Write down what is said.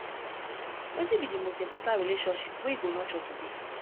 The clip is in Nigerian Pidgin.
wetin be di most important relationship wey you go nurture today